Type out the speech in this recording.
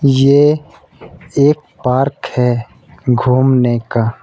ये एक पार्क है घूमने का।